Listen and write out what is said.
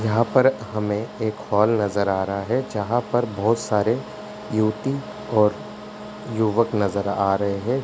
यहाँ पर हमें एक हॉल नजर आ रहा है जहाँ पर बोहोत सारे युवती और युवक नजर आ रहे हैं।